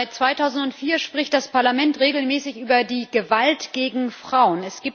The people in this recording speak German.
Seit 2004 spricht das Parlament regelmäßig über die Gewalt gegen Frauen.